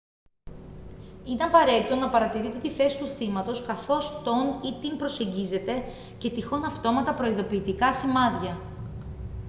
είναι απαραίτητο να παρατηρείτε τη θέση του θύματος καθώς τον ή την προσεγγίζετε και τυχόν αυτόματα προειδοποιητικά σημάδια